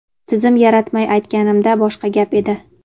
tizim yaratmay aytganimda boshqa gap edi.